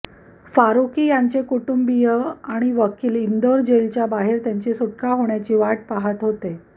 फारूकी याचे कुटुंबीय आणि वकील इंदोर जेलच्या बाहेर त्यांची सुटका होण्याची वाट पहात होते